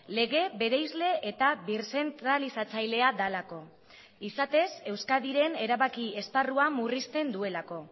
lege bereizle eta birzentralizatzailea delako izatez euskadiren erabaki esparrua murrizten duelako